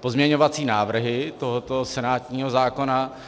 pozměňovací návrhy tohoto senátního zákona.